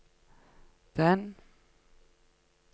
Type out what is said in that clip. den